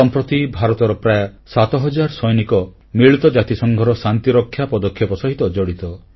ସମ୍ପ୍ରତି ଭାରତର ପ୍ରାୟ 7 ହଜାର ସୈନିକ ମିଳିତ ଜାତିସଂଘର ଶାନ୍ତିରକ୍ଷା ପଦକ୍ଷେପ ସହିତ ଜଡ଼ିତ